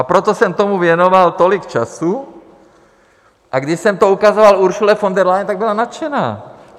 A proto jsem tomu věnoval tolik času, a když jsem to ukazoval Ursule von der Leyen, tak byla nadšená.